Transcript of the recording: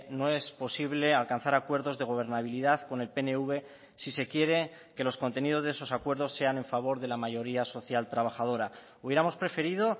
no es posible alcanzar acuerdos de gobernabilidad con el pnv si se quiere que los contenidos de esos acuerdos sean en favor de la mayoría social trabajadora hubiéramos preferido